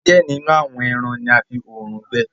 diẹ nínú àwọn èràn ní a fí òòrùn gbẹ.